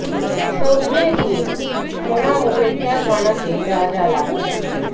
সজনে দিয়ে সোনা মুগের ডাল বানাতে যা যা লাগছে